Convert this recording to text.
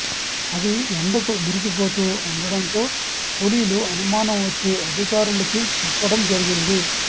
అవి ఎండకు మెరిసిపోతూ ఉండటంతో కూలీలు అనుమానం వచ్చి అధికారులకి చెప్పడం జరిగింది